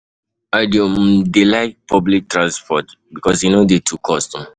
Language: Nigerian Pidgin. I dey um dey um like public transport because e no dey too cost. um